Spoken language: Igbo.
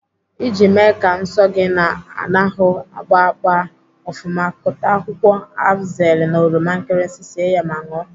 Iji mee ka nsọ gị na-anahụ agba gbaa ofụma, kụta akwụkwọ afzeli na oroma nkirisi sie ya ma ṅụọ.